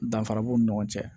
Danfara b'u ni ɲɔgɔn cɛ